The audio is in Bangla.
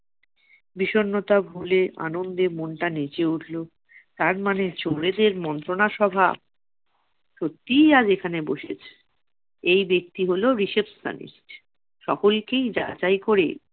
বিষন্নতা ভুলে আনন্দে মনটা নেচে উঠলো। তার মানে চোরেদের মন্ত্রণা সভা সত্যি আজ এখানে বসেছে। এই ব্যক্তি হলো receptionist, সকলকেই যাচাই করে-